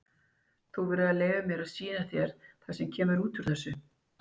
Þú verður nú að leyfa mér að sýna þér það sem kemur út úr þessu.